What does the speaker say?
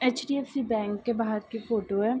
HDFC. Bank के बाहर की फोटो है।